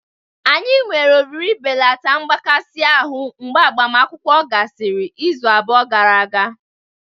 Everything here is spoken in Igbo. Anyị nwere oriri ibelata mgbakasị ahụ mgbe agbamakwụkwọ gasịrị izu abụọ gara aga.